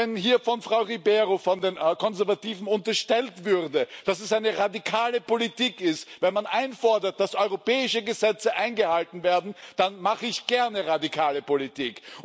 Wenn hier von Frau Ribeiro von den Konservativen unterstellt würde, dass es eine radikale Politik ist, wenn man einfordert, dass europäische Gesetze eingehalten werden, dann mache ich gerne radikale Politik.